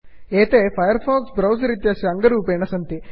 एते Firefox browser इत्यस्य अङ्गरूपेण सन्ति